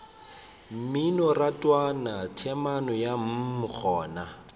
mminorathwana temana ya mm gona